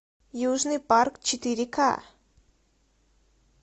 южный парк четыре ка